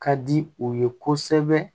Ka di u ye kosɛbɛ